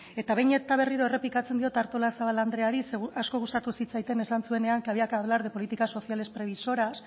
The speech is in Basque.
eta behin eta berriro errepikatzen diot artolazabal andreari zeren eta asko gustatu zitzaidan esan zuenean que había que hablar de políticas sociales previsoras